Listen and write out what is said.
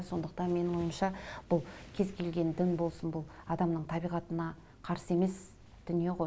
сондықтан менің ойымша бұл кез келген дін болсын бұл адамның табиғатына қарсы емес дүние ғой